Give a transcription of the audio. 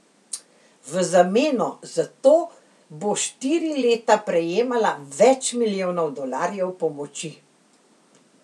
V zameno zato bo štiri leta prejemala več milijonov dolarjev pomoči.